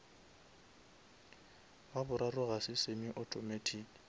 wa boraro ga se semi automatic